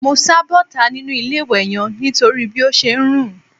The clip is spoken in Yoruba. Mo sá bọ́ta nínú ilé-ìwẹ̀ yẹn nítorí bí ó ṣe ń rùn